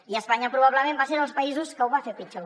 i espanya probablement va ser dels països que ho van fer pitjor